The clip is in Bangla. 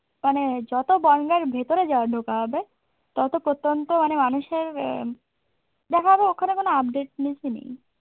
মানে যত বন্যার ভেতরে ঢোকা হবে তত প্রত্যন্ত মানে মানুষের অ্যা দেখা হবে ওখানে কোন updateness ই নেই।